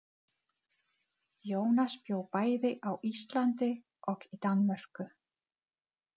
Jónas bjó bæði á Íslandi og í Danmörku.